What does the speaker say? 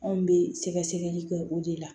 Anw bɛ sɛgɛsɛgɛli kɛ o de la